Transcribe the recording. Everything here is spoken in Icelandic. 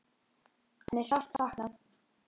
Hans er sárt saknað.